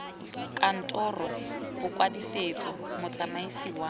kantoro ya bokwadisetso motsamaisi wa